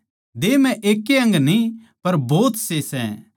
देह म्ह एकै अंग न्ही पर भोतसे सै